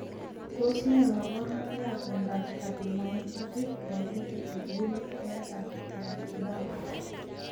Tos ne kaborunoikap miondop cardiomyopathy dilated with woolly hair and keratoderma?